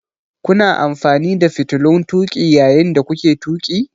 Kuna amfani da fitilun tuƙi yayin da kuke tuƙi?